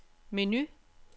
menu